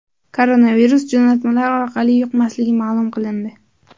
Koronavirus jo‘natmalar orqali yuqmasligi ma’lum qilindi.